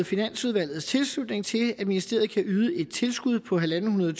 finansudvalgets tilslutning til at ministeriet kan yde et tilskud på ethundrede